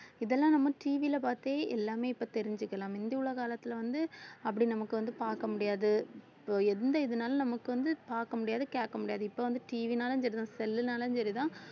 இதெல்லாம் நம்ம TV ல பார்த்தே எல்லாமே இப்ப தெரிஞ்சுக்கலாம் முந்தி உள்ள காலத்துல வந்து அப்படி நமக்கு வந்து பார்க்க முடியாது so எந்த இதுனாலும் நமக்கு வந்து பார்க்க முடியாது, கேட்க முடியாது இப்ப வந்து TV ன்னாலும் சரிதான் cell ன்னாலும் சரிதான்